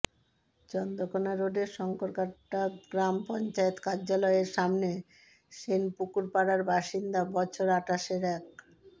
চন্দ্রকোনা রোডের শঙ্করকাটা গ্রাম পঞ্চায়েত কার্যালয়ের সামনে সেনপুকুর পাড়ার বাসিন্দা বছর আঠাশের এক